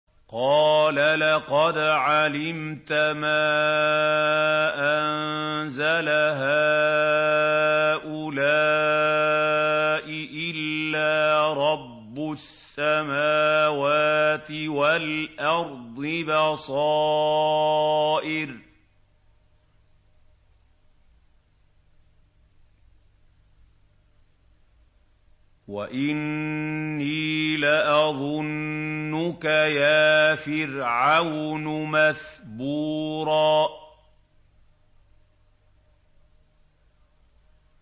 قَالَ لَقَدْ عَلِمْتَ مَا أَنزَلَ هَٰؤُلَاءِ إِلَّا رَبُّ السَّمَاوَاتِ وَالْأَرْضِ بَصَائِرَ وَإِنِّي لَأَظُنُّكَ يَا فِرْعَوْنُ مَثْبُورًا